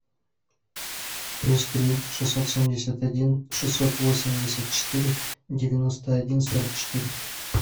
плюс три шестьсот семьдесят один шестьсот восемьдесят четыре девяносто один сорок четыре